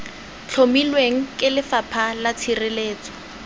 tlhomilweng ke lefapha la tshireletso